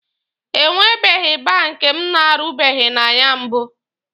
E nwebeghi banki m na-arụbeghị na ya mbụ.